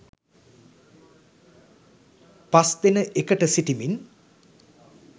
පස් දෙන එකට සිටිමින්